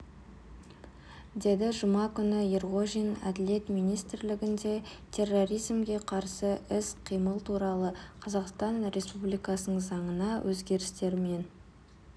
деді жұма күні ерғожин әділет министрлігінде терроризмге қарсы іс-қимыл туралы қазақстан республикасының заңына өзгерістер мен